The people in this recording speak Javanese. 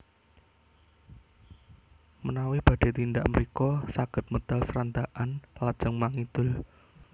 Menawi badhé tindak mrika saged medal Srandakan lajeng mangidul